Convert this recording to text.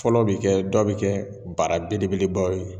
Fɔlɔ bɛ kɛb, dɔ bi kɛ baara belebelebaw ye.